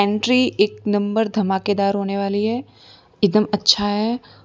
Entry एक number धमाकेदार होने वाली है एकदम अच्छा है।